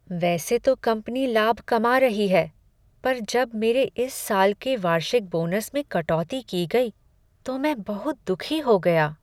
वैसे तो कंपनी लाभ कमा रही है, पर जब मेरे इस साल के वार्षिक बोनस में कटौती की गई तो मैं बहुत दुखी हो गया।